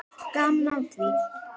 Gaman af því.